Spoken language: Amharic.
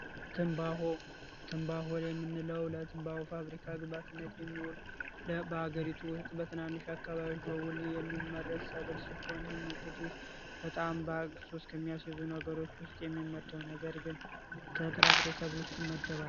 ትንባሆ ትንባሆ የምንለው ለትንባሆ ፋብሪካ ግብዓትነት በሀገሪቱ ውስጥ በትናንሽ አካባቢዎች የሚመረት ሰብል ሲሆን ይህም እንግዲህ በጣም ሱስ ከሚያስይዙ ነገር ግን ከጥራጥሬ ሰብል ውስጥ ይመደባል።